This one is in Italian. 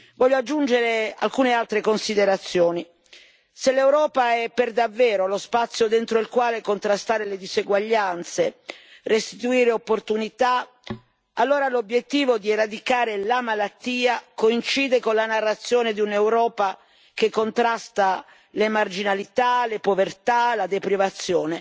Voglio aggiungere alcune altre considerazioni se l'Europa è davvero lo spazio dentro il quale contrastare le diseguaglianze e restituire opportunità, allora l'obiettivo di debellare la malattia coincide con la narrazione di un'Europa che contrasta le marginalità, le povertà e la deprivazione,